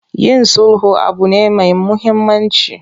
Yin sulhu abu ne me muhammanci.